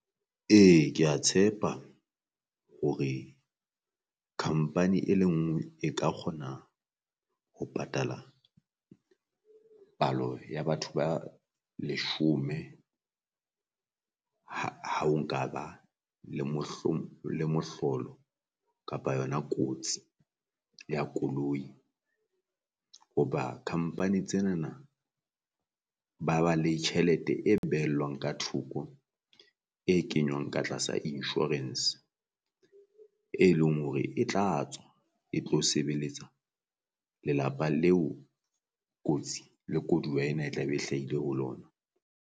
Ee kea tshepa hore company e le ngwe e ka kgona ho patala palo ya batho ba leshome ha ha o nkaba le le mohlolo kapa kotsi ya koloi. Hoba company tsenana ba ba le tjhelete e behellwang ka thoko e kenywang ka tlasa insurance, e leng hore e tla tswa e tlo sebeletsa lelapa leo kotsi le koduwa ena e tla be e hlahile ho lona.